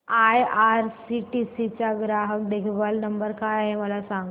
IRCTC चा ग्राहक देखभाल नंबर काय आहे मला सांग